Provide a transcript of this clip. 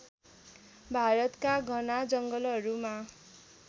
भारतका घना जङ्गलहरूमा